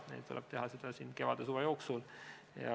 Meil tuleb seda teha kevade ja suve jooksul.